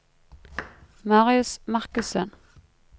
Marius Markussen